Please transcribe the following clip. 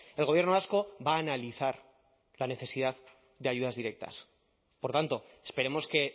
el gobierno vasco va a analizar la necesidad de ayudas directas por tanto esperemos que